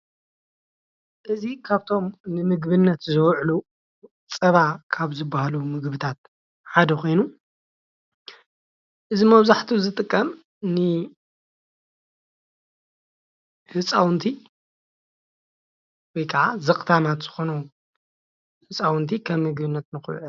እዚ ካብቶም ንምግብነት ዝውዕሉ ፃባ ካብ ዝባሃሉ ምግብታት ሓደ ኮይኑ እዚ መብዛሕትኡ ዝጥቀም ንህፃውንቲ ወይ ከዓ ዘክታማት ዝኮኑ ህፃውንቲ ከም ምግብነት ንክውዕል፡፡